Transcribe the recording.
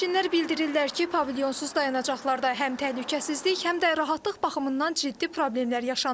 Sərnişinlər bildirirlər ki, pavilyonsuz dayanacaqlarda həm təhlükəsizlik, həm də rahatlıq baxımından ciddi problemlər yaşanır.